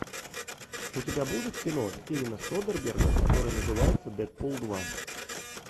у тебя будет кино стивена содерберга которое называется дэдпул два